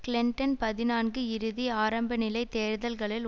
Clinton பதினான்கு இறுதி ஆரம்பநிலைத் தேர்தல்களில்